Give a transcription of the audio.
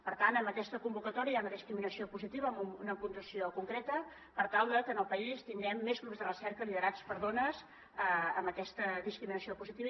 per tant en aquesta convocatòria hi ha una discriminació positiva amb una puntuació concreta per tal de que en el país tinguem més grups de recerca liderats per dones amb aquesta discriminació positiva